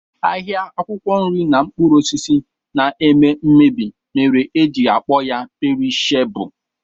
Ahịa akwụkwọ nri na mkpụrụ osisi na-eme mmebi mere e ji akpọ ya perishebụl